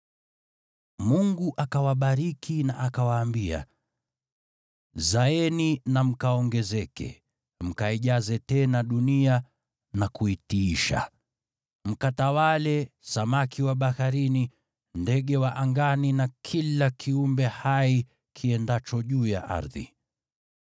Mungu akawabariki na akawaambia, “Zaeni na mkaongezeke, mkaijaze tena dunia na kuitiisha. Mkatawale samaki wa baharini, ndege wa angani, na kila kiumbe hai kiendacho juu ya ardhi.”